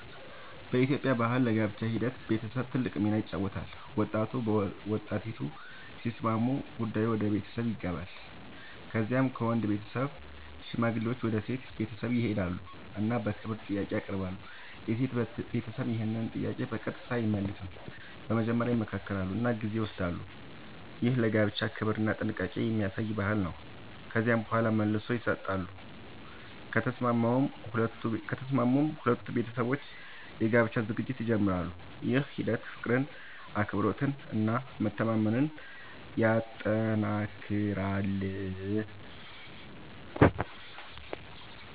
በኢትዮጵያ ባህል ለጋብቻ ሂደት ቤተሰብ ትልቅ ሚና ይጫወታል። ወጣቱና ወጣቲቱ ሲስማሙ ጉዳዩ ወደ ቤተሰብ ይገባል። ከዚያ ከወንድ ቤተሰብ ሽማግሌዎች ወደ ሴት ቤተሰብ ይሄዳሉ እና በክብር ጥያቄ ያቀርባሉ። የሴት ቤተሰብ ይህን ጥያቄ በቀጥታ አይመልስም፤ መጀመሪያ ይመክራሉ እና ጊዜ ይወስዳሉ። ይህ ለጋብቻ ክብርና ጥንቃቄ የሚያሳይ ባህል ነው። ከዚያ በኋላ መልስ ይሰጣሉ፤ ከተስማሙም ሁለቱ ቤተሰቦች የጋብቻ ዝግጅት ይጀምራሉ። ይህ ሂደት ፍቅርን፣ አክብሮትን እና መተማመንን ያጠናክራል።